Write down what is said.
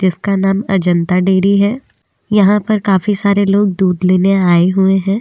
इसका नाम अजंता डेरी है यहाँ पर काफी सरे लोग दूध लेने आए हुए हैं तथा।